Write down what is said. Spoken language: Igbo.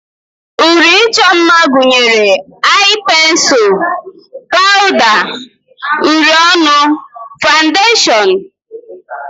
Uri ịchọ mma gụnyere ai pensul, pawda, uri ọnụ, fandashon wdg.